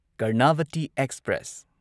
Karnavati express